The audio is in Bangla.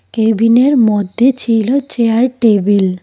কেবিনের মধ্যে ছিল চেয়ার টেবিল ।